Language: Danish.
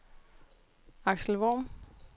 Aksel Worm